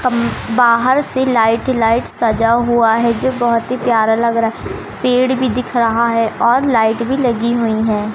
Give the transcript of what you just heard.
अ बाहर से light light सजा हुआ है जो बहोत ही प्यारा लग रहा पेड़ भी दिख रहा है और लाइट भी लगी हुई है।